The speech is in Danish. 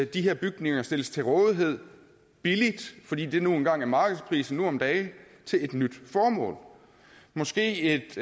de her bygninger stilles til rådighed billigt fordi det nu engang er markedsprisen nu om dage til et nyt formål måske et